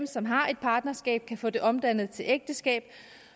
som har et partnerskab kan få det omdannet til ægteskab